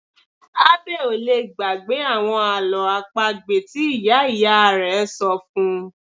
Abbey ò lè gbàgbé àwọn àlọ́ àpagbè tí ìyá ìyá rẹ̀ ṣọ fún -un